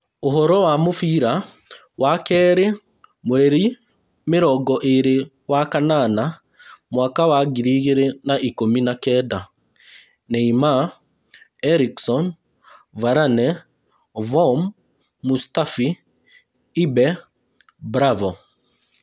Ũhoro wa mũbira wakerĩ mweri mĩrongo ĩĩrĩ wa-kanana mwaka wa Ngiri igĩrĩ na ikũmi na kenda: Neymar, Eriksen, Varane, Vorm, Mustafi, ibe, Bravo